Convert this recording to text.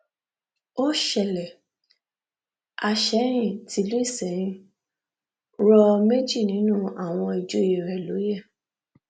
ó ṣẹlẹ àsẹyìn tìlú isẹyìn rọ méjì nínú àwọn ìjòyè rẹ lóye